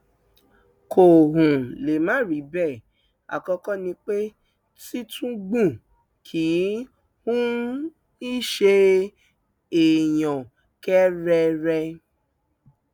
kò um lè má rí bẹẹ àkọkọ ni pé tìtúngbù kì um í ṣe èèyàn kẹrẹrẹ